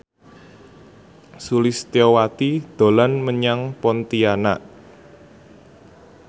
Sulistyowati dolan menyang Pontianak